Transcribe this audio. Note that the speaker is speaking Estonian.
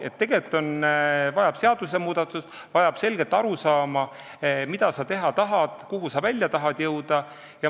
Tegelikult vajab see seadusmuudatust ja selget arusaama, mida sa teha tahad ja kuhu sa välja tahad jõuda.